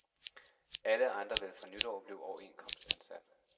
Alle andre vil fra nytår blive overenskomstansat.